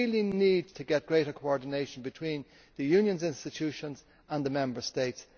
We need to achieve greater coordination between the Union's institutions and the Member States.